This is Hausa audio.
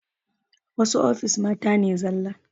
Wasu ofis mata ne zala